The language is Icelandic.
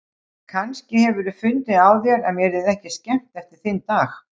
Kannski hefurðu fundið á þér að mér yrði ekki skemmt eftir þinn dag.